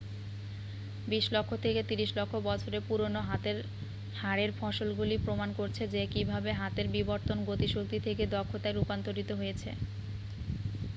20 লক্ষ থেকে 30 লক্ষ বছরের পুরনো হাতের হাড়ের ফসিলগুলি প্রমাণ করছে যে কীভাবে হাতের বিবর্তন গতিশক্তি থেকে দক্ষতায় রূপান্তরিত হয়েছে